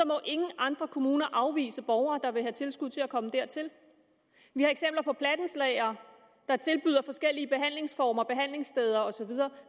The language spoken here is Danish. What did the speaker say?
må ingen andre kommuner afvise borgere der vil have tilskud til at komme dertil vi har eksempler på plattenslagere der tilbyder forskellige behandlingsformer behandlingssteder og så videre